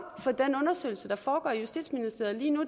for den undersøgelse der foregår i justitsministeriet lige nu